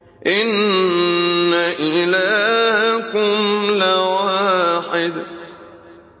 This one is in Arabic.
إِنَّ إِلَٰهَكُمْ لَوَاحِدٌ